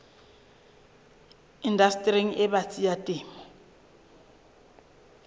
indastering e batsi ya temo